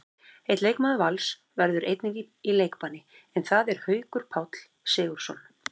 Einn leikmaður Vals verður einnig í leikbanni, en það er Haukur Páll Sigurðsson.